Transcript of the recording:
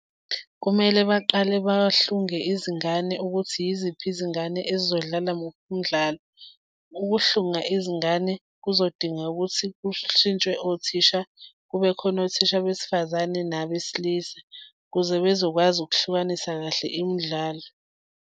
Kumele baqale bahlunge izingane ukuthi yiziphi izingane ezizodlala muphi umdlalo. Ukuhlunga izingane kuzodinga ukuthi kushintshwe othisha, kube khona othisha besifazane nabesilisa ukuze bezokwazi ukuhlukanisa kahle imidlalo.